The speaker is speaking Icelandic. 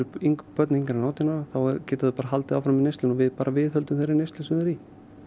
börn yngri en átján ára þá geta þau bara haldið áfram í neyslunni við bara viðhöldum þeirri neyslu sem þau eru í